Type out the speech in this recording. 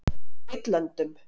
Gautlöndum